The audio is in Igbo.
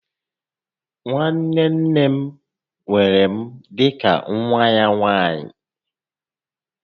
Nwanne nne m weere m dịka nwa ya nwaanyị